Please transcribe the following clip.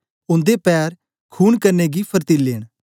उन्दे पैर खून करने गी फर्तीले न